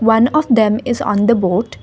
one of them is on the boat.